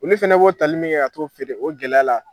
Ulu fɛnɛ bo o tali min kɛ ka t'o feere o gɛlɛya la